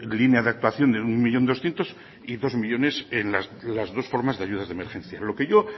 líneas de actuación de un millón doscientos mil y dos millónes en las dos formas de ayuda de emergencia lo que yo